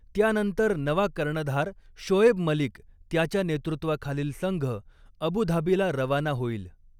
त्यानंतर नवा कर्णधार शोएब मलिक याच्या नेतृत्वाखालील संघ अबुधाबीला रवाना होईल.